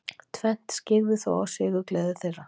Tvennt skyggði þó á sigurgleði þeirra.